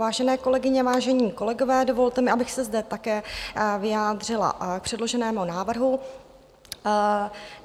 Vážené kolegyně, vážení kolegové, dovolte mi, abych se zde také vyjádřila k předloženému návrhu.